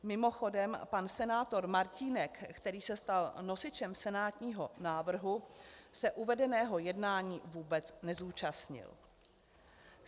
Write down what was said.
Mimochodem, pan senátor Martínek, který se stal nosičem senátního návrhu, se uvedeného jednání vůbec nezúčastnil.